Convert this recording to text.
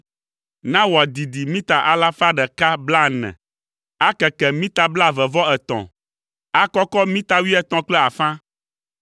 Na wòadidi mita alafa ɖeka blaene (140), akeke mita blaeve-vɔ-etɔ̃, akɔkɔ mita wuietɔ̃ kple afã.